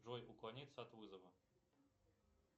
джой уклониться от вызова